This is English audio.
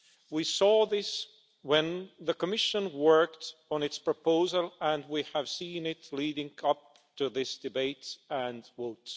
We saw this when the Commission worked on its proposal and we have seen it leading up to this debate and votes.